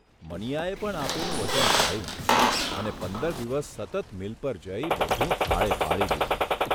મનીયાએ પણ આપેલું વચન પાળ્યું અને પંદર દિવસ સતત મિલ પર જઇ બધું થાળે પાડી દીધું.